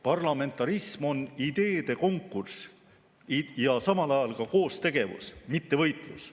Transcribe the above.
Parlamentarism on ideede konkurss ja samal ajal ka koostegevus, mitte võitlus.